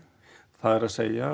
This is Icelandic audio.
það er